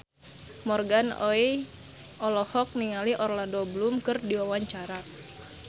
Morgan Oey olohok ningali Orlando Bloom keur diwawancara